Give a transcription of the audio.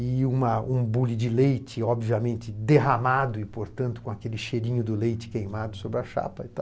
e uma um bule de leite, obviamente, derramado e, portanto, com aquele cheirinho do leite queimado sobre a chapa e tal.